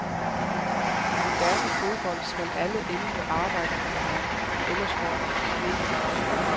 I moderne fodbold skal alle elleve arbejde for hinanden, ellers får man problemer.